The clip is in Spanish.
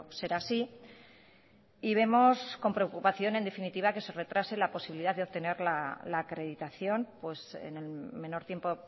ser así y vemos con preocupación en definitiva que se retrase la posibilidad de obtener la acreditación en el menor tiempo